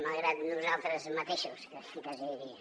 malgrat nosaltres mateixos quasi diria